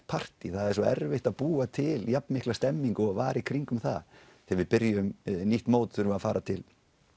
partý það er svo erfitt að búa til jafnmikla stemningu og var í kringum það þegar við byrjum nýtt mót þurfum við að fara til